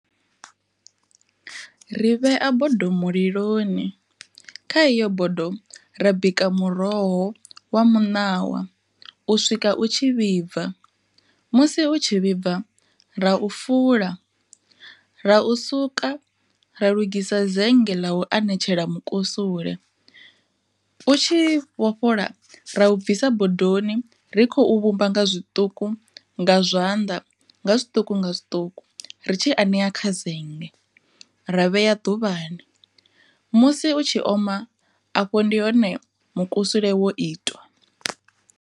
Ri vhea bodo muliloni, kha iyo bodo ra bika muroho wa muṋawa u swika u tshi vhibva. Musi u tshi vhibva ra u fula ra u suka ra lugisa zenge ḽa u anetshela mukusule. U tshi vho fhola ra u bvisa bodoni ri khou vhumba nga zwiṱuku nga zwanḓa nga zwiṱuku nga zwiṱuku, ri tshi anea kha zennge ra vhea ḓuvhani musi u tshi oma afho ndi hone mukusule wo itwa.